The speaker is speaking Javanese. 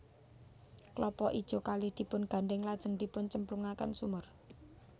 Klapa ijo kalih dipungandhèng lajeng dipuncemplungaken sumur